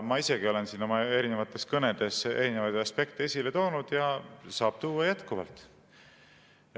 Ma ise olen ka siin oma kõnedes erinevaid aspekte esile toonud ja saan tuua jätkuvalt.